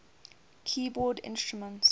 keyboard instruments